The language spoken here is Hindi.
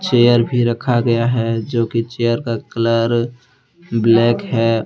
चेयर भी रखा गया है जो की चेयर का कलर ब्लैक है।